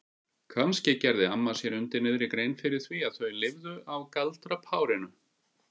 Kannski gerði amma sér undir niðri grein fyrir því að þau lifðu á galdrapárinu?